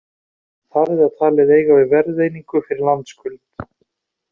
Þar er það talið eiga við verðeiningu fyrir landskuld.